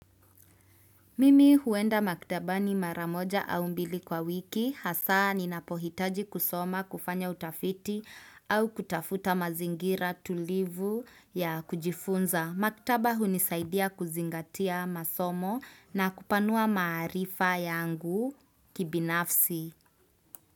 Mimi huenda maktaba ni mara moja au mbili kwa wiki, hasa ninapohitaji kusoma kufanya utafiti au kutafuta mazingira tulivu ya kujifunza. Maktaba hunisaidia kuzingatia masomo na kupanua maarifa yangu kibinafsi.